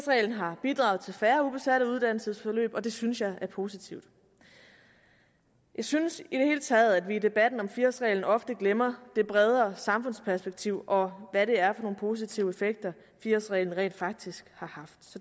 har bidraget til færre ubesatte uddannelsesforløb og det synes jeg er positivt jeg synes i det hele taget at vi i debatten om fire årsreglen ofte glemmer det bredere samfundsperspektiv og hvad det er for nogle positive effekter fire årsreglen rent faktisk har haft